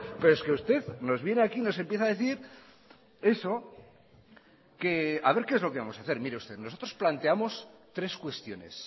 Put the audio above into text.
pero es que usted nos viene aquí y nos empieza a decir eso que haber qué es lo que vamos a hacer mire usted nosotros planteamos tres cuestiones